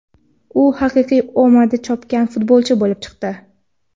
U haqiqiy omadi chopgan futbolchi bo‘lib chiqdi.